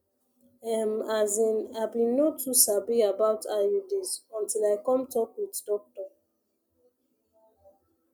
ehm as in i been no too sabi about iuds until i come talk with doctor